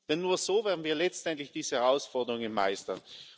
Denn nur so werden wir letztendlich diese Herausforderungen meistern.